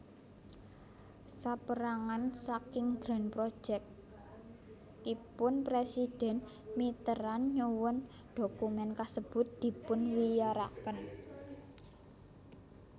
Sapérangan saking Grand Projectipun Presiden Mitterrand nyuwun dokumen kasebut dipunwiyaraken